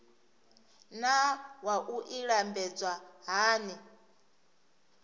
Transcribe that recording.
naa wua i lambedzwa hani